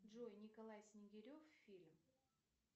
джой николай снегирев фильм